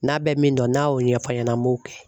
N'a bɛ min dɔn n'a y'o ɲɛfɔ a ɲɛna an b'o kɛ.